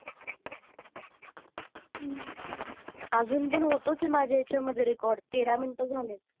अजून पण होतोच आहे माझ्यामध्ये रेकॉर्ड तेरा मिनिट झालेत